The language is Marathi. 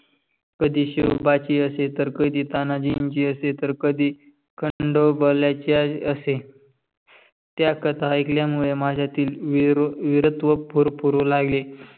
कधी शिवबा ची असेल तर, कधी तानजी ची तर. कधी खंडोबालची असे. त्या कथा एकल्या मुळे मंज्यातील विरातव्ह फर फररू लागले.